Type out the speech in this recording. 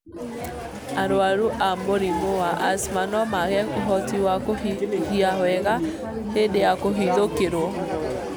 Arwaru a mũrimũ wa asthma no maage ũhoti wa kũhihia wega hĩndĩ ya kũhithũkĩrwo.